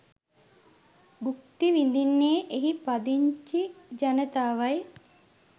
බුක්ති විඳින්නේ එහි පදිංචි ජනතාවයි